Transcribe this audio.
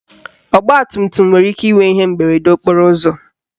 Ọgbatumtum nwere ike inwe ihe mberede okporo ụzọ